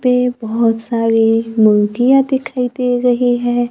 पे बहोत सारे मुर्गीया दिखाई दे रही है।